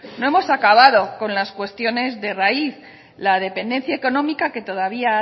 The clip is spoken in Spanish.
no hemos acabado con las cuestiones de raíz la dependencia económica que todavía